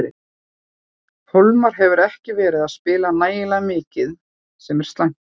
Hólmar hefur ekki verið að spila nægilega mikið sem er slæmt.